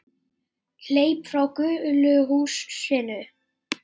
Hleyp frá gulu húsinu.